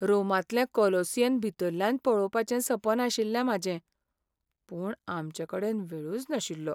रोमांतलें Colosseum भितरल्यान पळोवपाचें सपन आशिल्लें म्हाजें, पूण आमचे कडेन वेळूच नाशिल्लो.